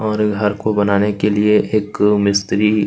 और ए को बनाने के लिए एक मिस्त्री--